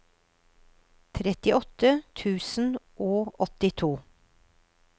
trettiåtte tusen og åttito